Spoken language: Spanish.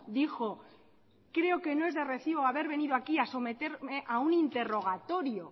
dijo creo que no es de recibo haber venido aquí a someterme a un interrogatorio